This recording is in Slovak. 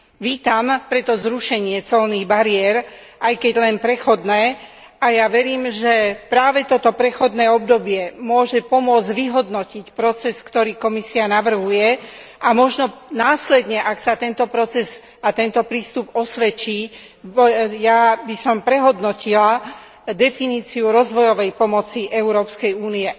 Vítam preto zrušenie colných bariér aj keď len prechodné a ja verím, že práve toto prechodné obdobie môže pomôcť vyhodnotiť proces, ktorý Komisia navrhuje, a možno následne, ak sa tento proces a tento prístup osvedčia, by som prehodnotila definíciu rozvojovej pomoci Európskej únie.